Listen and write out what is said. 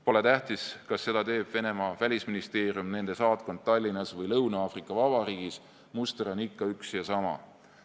Pole tähtis, kas seda teeb Venemaa välisministeerium, nende saatkond Tallinnas või Lõuna-Aafrika Vabariigis, muster on ikka üks ja sama.